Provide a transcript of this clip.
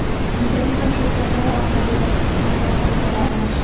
Internet va shu kabilar) orqali boshqa xizmatlardan foydalanish.